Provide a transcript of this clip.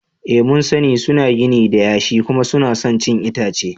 Ee mun sani, suna gini da yashi kuma suna son cin itace.